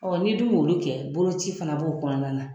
n'i dun m'olu kɛ boloci fana b'o kɔnɔna na.